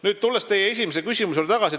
Nüüd tulen teie esimese küsimuse juurde tagasi.